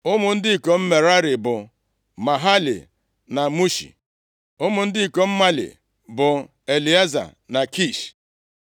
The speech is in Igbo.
Ụmụ ndị ikom Merari bụ Mahali na Mushi Ụmụ ndị ikom Mali bụ Elieza na Kish